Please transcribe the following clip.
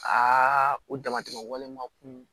Aa o damatɛmɛ wale ma kun